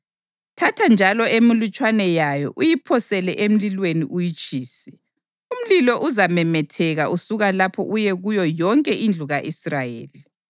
Thatha njalo emilutshwana yayo uyiphosele emlilweni uyitshise. Umlilo uzamemetheka usuka lapho uye kuyo yonke indlu ka-Israyeli.